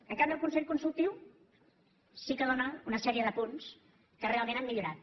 en canvi el consell consultiu sí que dóna una sèrie de punts que realment han millorat